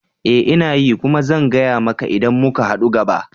Ee! Ina yi kuma zan gaya muka idan muka hadu gaba